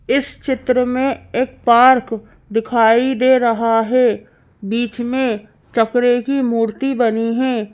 इस चित्र में एक पार्क दिखाई दे रहा है बीच में चक्रे की मूर्ति बनी है।